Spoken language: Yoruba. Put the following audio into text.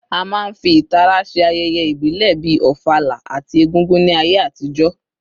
A máa ń fi ìtara ṣe ayẹyẹ ìbílẹ̀ bíi Ofala àti Egúngún ní ayé àtijọ́